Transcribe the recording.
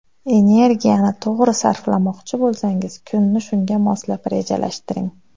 Energiyani to‘g‘ri sarflamoqchi bo‘lsangiz, kunni shunga moslab rejalashtiring.